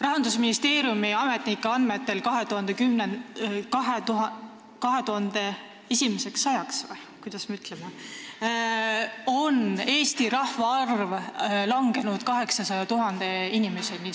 Rahandusministeeriumi ametnike andmetel on Eesti rahvaarv 2100. aastaks langenud 800 000 inimeseni.